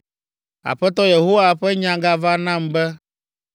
Aƒetɔ Yehowa ƒe nya gava nam be,